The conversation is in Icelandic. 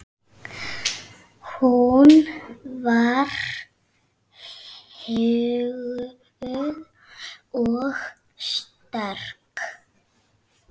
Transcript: Hún var huguð og sterk.